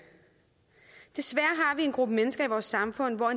en gruppe mennesker i vores samfund for